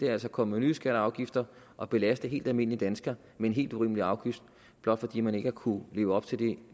er altså at komme med nye skatter og afgifter og belaste helt almindelige danskere med en helt urimelig afgift blot fordi man ikke har kunnet leve op til de